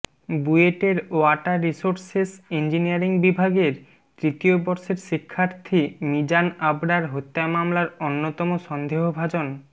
বুয়েটের water resources engineering বিভাগের তৃতীয় বর্ষের শিক্ষার্থী মিজান আবরার হত্যা মামলার অন্যতম সন্দেহভাজন